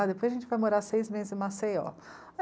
Ah, depois a gente vai morar seis meses em Maceió.